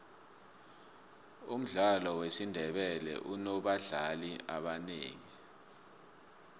umdlalo wezandla unobadlali ebangaki